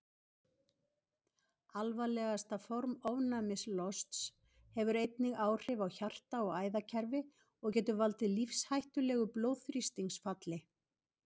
Alvarlegasta form ofnæmislosts hefur einnig áhrif á hjarta- og æðakerfi og getur valdið lífshættulegu blóðþrýstingsfalli.